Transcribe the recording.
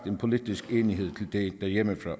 en politisk enighed til derhjemmefra